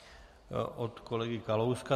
Od kolegy Kalouska.